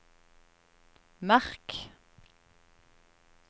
merk